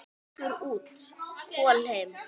Fiskur út, kol heim.